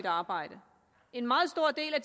arbejde en meget stor del af